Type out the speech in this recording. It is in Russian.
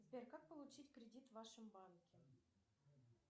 сбер как получить кредит в вашем банке